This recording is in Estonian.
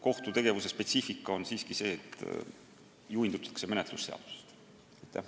Kohtutegevuse spetsiifika seisneb siiski selles, et juhindutakse menetlusseadustikust.